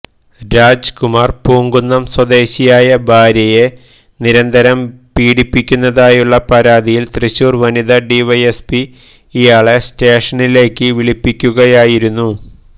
രാജ്കുമാര് പൂങ്കുന്നം സ്വദേശിയായ ഭാര്യയെ നിരന്തരം പീഡിപ്പിക്കുന്നതായുള്ള പരാതിയില് തൃശ്ശൂര് വനിതാ ഡിവൈഎസ്പി ഇയാളെ സ്റ്റേഷനിലേക്ക് വിളിപ്പിക്കുകയായിരുന്നു